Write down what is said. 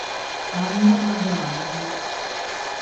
анна абрамовна